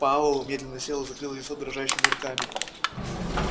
пауэлл медленно сел и закрыл лицо дрожащими руками